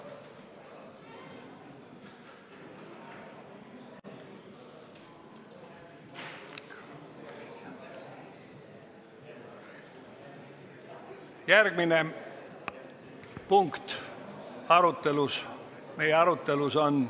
Järgmine punkt meie arutelus on ...